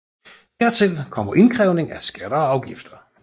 Hertil kommer indkrævning af skatter og afgifter